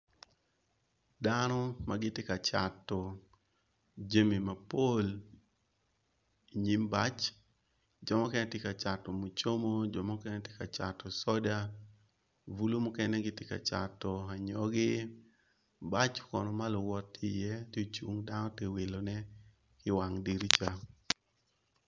Dano magitye ka cato jami mapol inyim bac jomukene gitye kacato mucomo jo mukene gitye kacato soda bulu mukene gitye kacato anyogi bac kono maluwot tye i ye tye acung dano tye wilo ne i wang dirica.